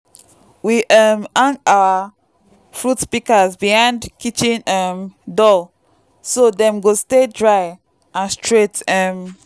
we um hang our fruit pikas behind kitchen um door so dem go stay dry and straight um